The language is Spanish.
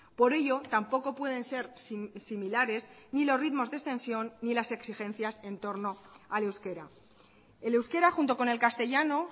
por ello tampoco pueden ser similares ni los ritmos de extensión ni las exigencias en torno al euskera el euskera junto con el castellano